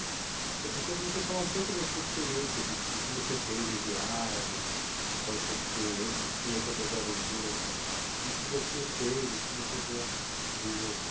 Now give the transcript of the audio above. E outra coisa é você falar um pouco da sua experiência, de do que você fez em viagens, quais são as suas experiências, você comentou das aventuras, de que você fez, o que você já desenvolveu.